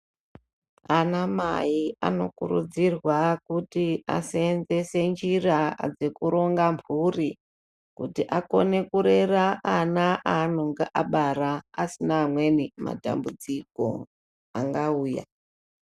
Ana mai anokurudzirwa kuti aseenzese njira dzekuronga mburi kuti akone kurera ana aanonga abara asina amweni matambudziko angauya.